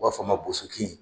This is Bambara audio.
U b'a fɔ a ma bosokin.